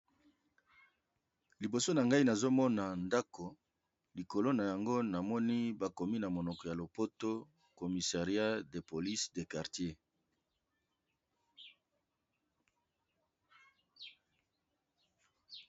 Liboso na ngai nazomona ndako likolo na yango namoni bakomi na monoko ya lopoto comissariat de police de quartier.